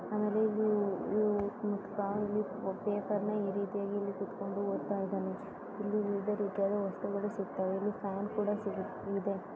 ಇದು ಚಿತ್ರದಲ್ಲಿ ವೈಯಕ್ತಿಕ ನೋಟವನ್ನು ಹೊಂದಿದೆ ಇದು ತುಂಬಾ ಸುಂದರವಾಗಿದೆ. ಅದರ ಸುತ್ತಲೂ ಬಹಳಷ್ಟು ವಿಷಯಗಳಿವೆ. ಮರದ ಬೀರುವಿನಲ್ಲಿ ಹಲವು ವಸ್ತುಗಳು ಮಲಗಿದ್ದು ಅದೇ ಅಂಗಡಿಯಲ್ಲಿ ಅದು ಕಪ್ಪು ಬಣ್ಣದ್ದಾಗಿತ್ತು ಮತ್ತು ಒಬ್ಬ ಮನುಷ್ಯ ಕೂಡ ನಿಂತಿದ್ದಾನೆ. ಇದು ತುಂಬಾ ಸುಂದರವಾಗಿಲ್ಲ.